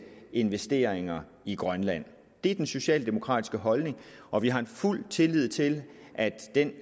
investeringer i grønland det er den socialdemokratiske holdning og vi har fuld tillid til at den